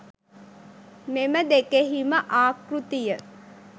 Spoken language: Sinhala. මෙම දෙකෙහිම ආකෘතිය